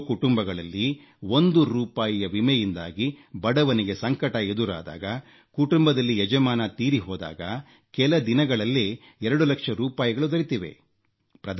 ಎಷ್ಟೋ ಕುಟುಂಬಗಳಲ್ಲಿ ಒಂದು ರೂಪಾಯಿಯ ವಿಮೆಯಿಂದಾಗಿ ಬಡವನಿಗೆ ಸಂಕಟ ಎದುರಾದಾಗ ಕುಟುಂಬದಲ್ಲಿ ಯಜಮಾನ ತೀರಿಹೋದಾಗ ಕೆಲ ದಿನಗಳಲ್ಲೇ 2 ಲಕ್ಷ ರೂಪಾಯಿಗಳು ದೊರೆತಿವೆ